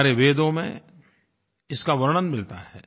हमारे वेदों में इसका वर्णन मिलता है